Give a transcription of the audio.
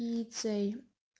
лицей